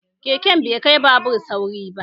Keke bai kai babur sauri ba